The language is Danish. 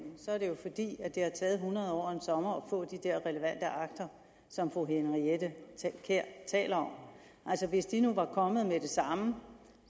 er det jo fordi det har taget hundrede år og en sommer at få de der relevante akter som fru henriette kjær taler om altså hvis de nu var kommet med det samme